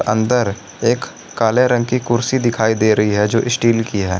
अंदर एक काले रंग की कुर्सी दिखाई दे रही है जो स्टील की है।